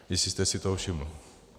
Jestli jste si toho všiml.